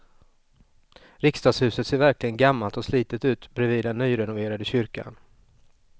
Riksdagshuset ser verkligen gammalt och slitet ut bredvid den nyrenoverade kyrkan.